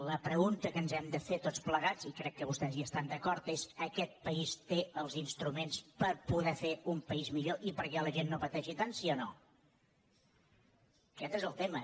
la pregunta que ens hem de fer tots plegats i crec que vostès hi estan d’acord és aquest país té els instruments per poder fer un país millor i perquè la gent no pateixi tant sí o no aquest és el tema